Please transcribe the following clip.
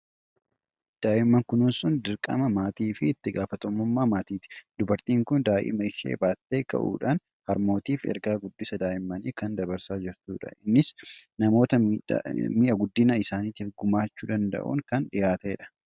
Daa'imman kunuunsuun dirqamaa fi itti gaafatamummaa maatiiti. Dubartiin kun daa'ima ishee baattee ka'uudhaan, harmootiif ergaa guddisa daa'immanii kan dabarsaa jirtudha. Innis namoota mi'a guddina isaaniif gumaachuu danda'auun kan dhiyaate dha.